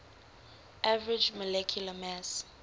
average molecular mass